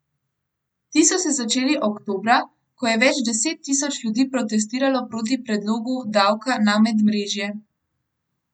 Ti so se začeli oktobra, ko je več deset tisoč ljudi protestiralo proti predlogu davka na medmrežje.